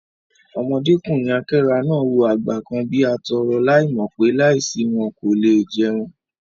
Ọmọdékùnrin àkẹ́rà náà wò àgbẹ̀ kan bí atọrọ láì mò pé, láì sí wọn, kò le è jẹun